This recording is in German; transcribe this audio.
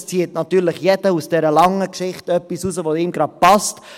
aus dieser langen Geschichte zieht natürlich jeder etwas heraus, das ihm gerade passt.